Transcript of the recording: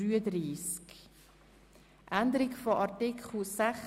Wir kommen zu Artikel 41.